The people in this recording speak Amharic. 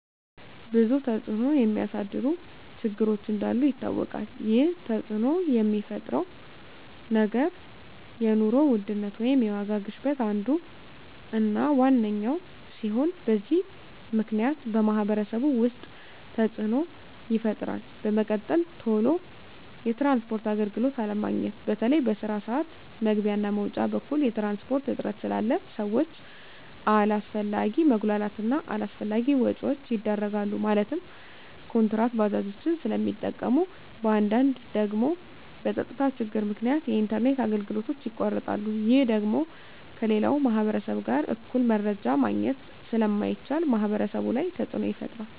ብዙ ተፅዕኖ የሚያሳድሩ ችግሮች እንዳሉ ይታወቃል ይህ ተፅዕኖ የሚፈጥረው ነገር የኑሮ ውድነት ወይም የዋጋ ግሽበት አንዱ እና ዋነኛው ሲሆን በዚህ ምክንያት በማህበረሰቡ ውስጥ ተፅዕኖ ይፈጥራል በመቀጠል ቶሎ የትራንስፖርት አገልግሎት አለማግኘት በተለይ በስራ ስዓት መግቢያ እና መውጫ በኩል የትራንስፖርት እጥረት ስላለ ሰዎች አላስፈላጊ መጉላላት እና አላስፈላጊ ወጪዎች ይዳረጋሉ ማለትም ኩንትራት ባጃጆችን ስለሚጠቀሙ በአንዳንድ ደግሞ በፀጥታ ችግር ምክንያት የኢንተርኔት አገልግሎቶች ይቋረጣሉ ይህ ደግሞ ከሌላው ማህበረሰብ ጋር እኩል መረጃ ማግኘት ስለማይቻል ማህበረሰቡ ላይ ተፅዕኖ ይፈጥራል